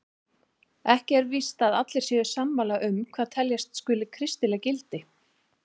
Ekki er víst að allir séu sammála um hvað teljast skuli kristileg gildi.